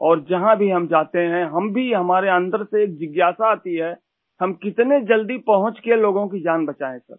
और जहाँ भी हम जाते हैं हम भी हमारे अन्दर से जिज्ञासा आती है हम कितने जल्दी पहुँच के लोगों की जान बचाएं सर